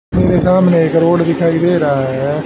मेरे सामने एक रोड दिखाई दे रहा है।